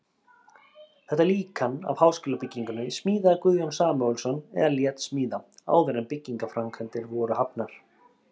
Þetta líkan af háskólabyggingunni smíðaði Guðjón Samúelsson eða lét smíða, áður en byggingarframkvæmdir voru hafnar.